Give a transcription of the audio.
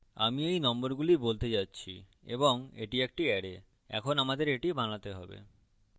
আমি এই নম্বরগুলি বলতে যাচ্ছি এবং এটি একটি অ্যারে এখন আমাদের এটি বানাতে have